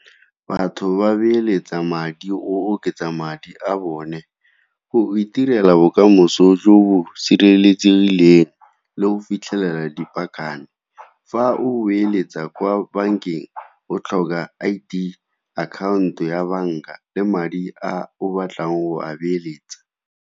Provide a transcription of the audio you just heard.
Batho ba beeletsa madi, o oketsa madi a bone go itirela bokamoso jo bo sireletsegileng le go fitlhelela di paakanyo. Fa o beeletsa kwa bankeng o tlhoka I_D, akhaonto ya banka le madi a o batlang go a beeletsa.